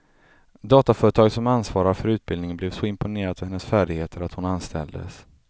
Dataföretaget som ansvarar för utbildningen blev så imponerat av hennes färdigheter att hon anställdes.